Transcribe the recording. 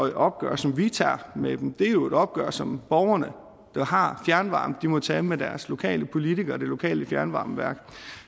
et opgør som vi tager med dem det er jo et opgør som borgerne der har fjernvarme må tage med deres lokale politikere og det lokale fjernvarmeværk